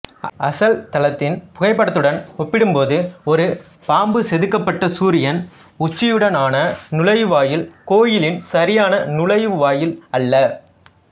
அசல் தளத்தின் புகைப்படத்துடன் ஒப்பிடும்போது ஒரு பாம்புசெதுக்கப்பட்ட சூரியன் உச்சியுடனான நுழைவாயில் கோயிலின் சரியான நுழைவாயில் அல்ல